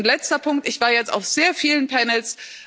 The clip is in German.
Letzter Punkt Ich war jetzt auf sehr vielen panels